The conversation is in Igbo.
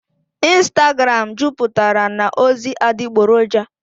ịnstagram juputara na ozi adịgboroja.